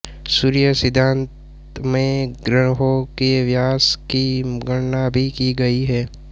सूर्य सिद्धान्त में ग्रहों के व्यास की गणना भी की गयी है